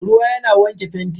Ruwa yana wanke fenti.